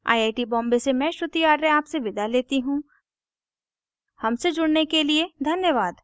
I I T Bombay से मैं श्रुति आर्य आपसे विदा लेती हूँ हमसे जुड़ने के लिए धन्यवाद